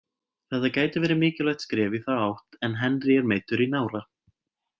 Þetta gæti verið mikilvægt skref í þá átt en Henry er meiddur í nára.